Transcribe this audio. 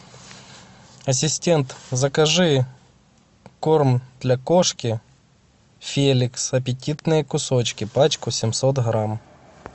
ассистент закажи корм для кошки феликс аппетитные кусочки пачку семьсот грамм